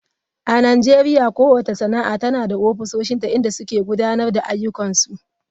A Najeriya kowace sana'a tana da ofisoshinta inda suke gudanar da ayyukansu.